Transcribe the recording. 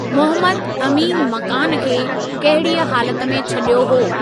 मुहम्मद अमीन मकान खे कहिड़ीअ हालति में छॾियो हो?